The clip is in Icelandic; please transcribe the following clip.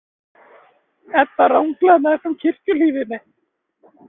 Edda ranglaði meðfram kirkjuhliðinni.